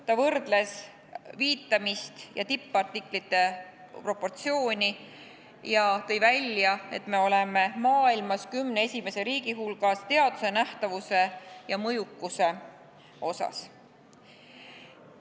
Ta võrdles viitamist ja tippartiklite proportsiooni ja tõi välja, et me oleme maailmas teaduse nähtavuse ja mõjukuse osas kümne esimese riigi hulgas.